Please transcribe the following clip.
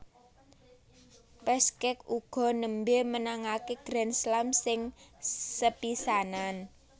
Peschke uga nembé menangaké Grand Slam sing sepisanan